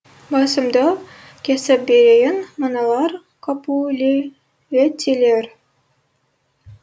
басымды кесіп берейін мыналар капулеттилер